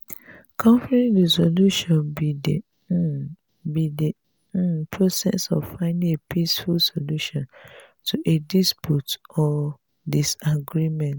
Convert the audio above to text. conflict resolution be di um be di um process of finding a peaceful solution to a dispute or disagreement.